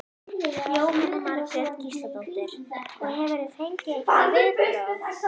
Jóhanna Margrét Gísladóttir: Og hefurðu fengið einhver viðbrögð?